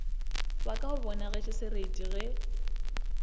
wa ka o bonagetšesereti ge